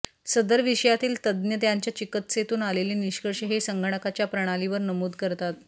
सदर विषयातील तज्ञ त्यांच्या चिकित्सेतून आलेले निष्कर्ष हे संगणकाच्या प्रणालीवर नमूद करतात